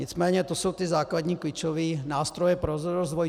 Nicméně to jsou ty základní klíčové nástroje pro rozvoj.